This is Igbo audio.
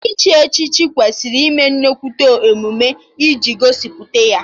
Iche echichi kwesịrị ịme nnukwu emume iji gosipụta ya